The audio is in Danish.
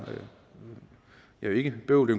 jo ikke bøvl